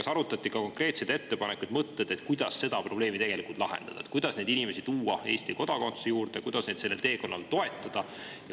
Kas arutati ka konkreetseid ettepanekuid ja mõtteid, kuidas seda probleemi lahendada, kuidas neid inimesi tuua Eesti kodakondsuse juurde, kuidas neid sellel teekonnal toetada?